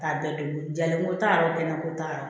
Ta bɛɛ tobi jalen ko ta yɔrɔ kɛnɛ ko ta